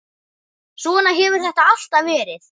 Svona hefur þetta alltaf verið.